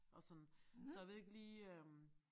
Og sådan så jeg ved ikke lige øh